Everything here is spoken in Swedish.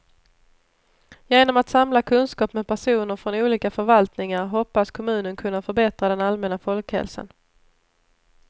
Genom att samla kunskap med personer från olika förvaltningar hoppas kommunen kunna förbättra den allmänna folkhälsan.